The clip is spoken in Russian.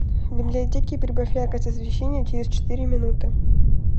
в библиотеке прибавь яркость освещения через четыре минуты